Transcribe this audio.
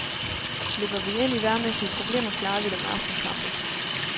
Løber vi ind i vejrmæssige problemer, klarer vi det med aftenkampe.